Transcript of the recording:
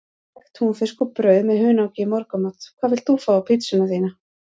Egg, túnfisk og brauð með hunangi í morgun Hvað vilt þú fá á pizzuna þína?